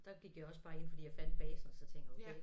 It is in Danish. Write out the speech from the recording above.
Der gik jeg også bare ind fordi jeg fandt basen og så tænkte jeg okay